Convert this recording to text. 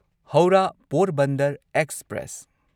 Howrah Porbandar express